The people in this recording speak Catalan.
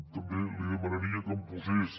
també li demanaria que em posés